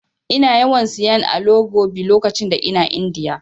Ina yawan siyan Alo Gobi lokacin da ina Indiya.